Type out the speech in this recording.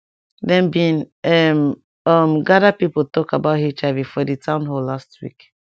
dem bin ehm um gather pipo talk about hiv for di town hall last week